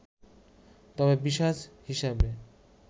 তবে পিশাচ হিসেবে